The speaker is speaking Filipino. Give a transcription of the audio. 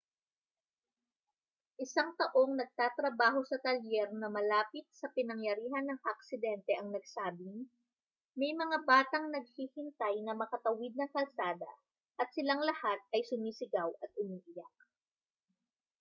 isang taong nagtatrabaho sa talyer na malapit sa pinangyarihan ng aksidente ang nagsabing: may mga batang naghihintay na makatawid ng kalsada at silang lahat ay sumisigaw at umiiyak.